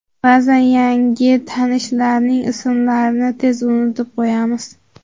Ba’zan yangi tanishlarning ismlarini tez unutib qo‘yamiz.